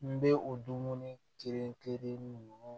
N bɛ o dumuni kelen kelen ninnu